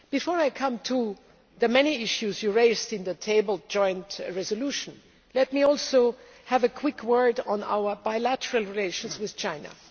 Before I come to the many issues you raised in the tabled joint resolution, let me also have a quick word on our bilateral relations with China.